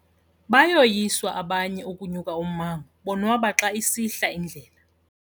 Bayoyiswa abanye ukunya ummango bonwaba xa isihla indlela.